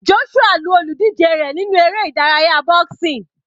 Joshua lu olùdíje rẹ̀ nínú eré ìdárayá boxing.